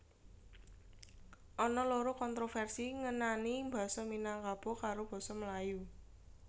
Ana loro kontroversi ngenani Basa Minangkabo karo basa Melayu